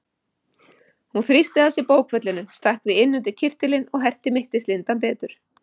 Hún þrýsti að sér bókfellinu, stakk því inn undir kyrtilinn og herti mittislindann betur.